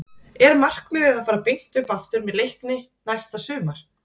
Er markmiðið að fara beint upp aftur með Leikni næsta sumar?